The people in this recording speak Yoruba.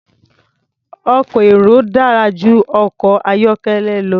Ọkọ̀ èrò dára jù ọkọ̀ ayọ́kẹ́lẹ́ lọ.